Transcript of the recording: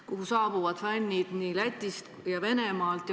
Sinna saabuvad fännid Lätist ja Venemaalt.